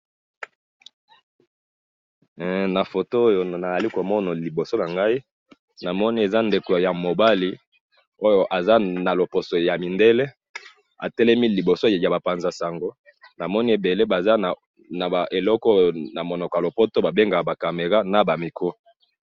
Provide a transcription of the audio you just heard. he na foto oyo nazali komona na liboso nangayi namoni eza ndeko ya mobali oyo aza na loposo ya mindele namoni atelemi naba panza sango namoni atelemi nabatu ebale bazali na oyo ba bengaka namunoko ya lopoto ba camera naba appareil foto.